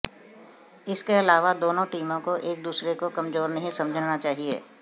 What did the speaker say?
इसके अलावा दोनों टीमों को एक दूसरे को कमजोर नहीं समझना चाहिए